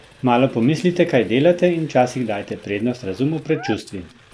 Malo pomislite kaj delate in včasih dajte prednost razumu pred čustvi!